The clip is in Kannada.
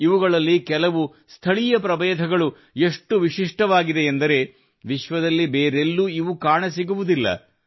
ಇವುಗಳಲ್ಲಿ ಕೆಲವು ಸ್ಥಳೀಯ ಪ್ರಭೇದಗಳು ಎಷ್ಟು ವಿಶಿಷ್ಟವಾಗಿವೆ ಎಂದರೆ ವಿಶ್ವದಲ್ಲಿ ಬೇರೆ ಎಲ್ಲೂ ಇವು ಕಾಣಸಿಗುವುದಿಲ್ಲ